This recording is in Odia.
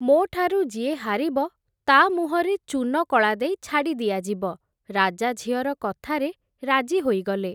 ମୋଠାରୁ ଯିଏ ହାରିବ, ତା’ ମୁହଁରେ ଚୂନକଳା ଦେଇ ଛାଡ଼ିଦିଆଯିବ, ରାଜା ଝିଅର କଥାରେ ରାଜି ହୋଇଗଲେ ।